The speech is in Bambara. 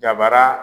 Dabara